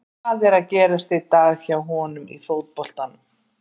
Hvað er að gerast í dag hjá honum í fótboltanum?